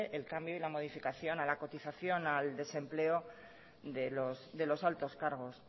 el cambio y la modificación a la cotización al desempleo de los altos cargos